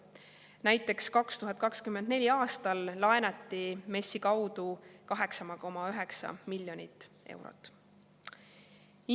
Näiteks 2024. aastal laenati MES-i kaudu 8,9 miljonit eurot.